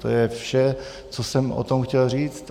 To je vše, co jsem o tom chtěl říct.